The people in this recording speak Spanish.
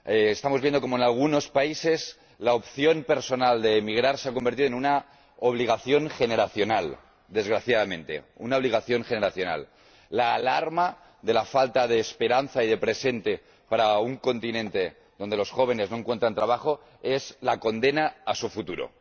Estamos viendo cómo en algunos países la opción personal de emigrar se ha convertido en una obligación generacional, desgraciadamente. La alarma por la falta de esperanza y de presente para un continente donde los jóvenes no encuentran trabajo es la condena a su futuro.